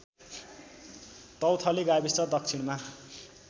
तौथली गाविस दक्षिणमा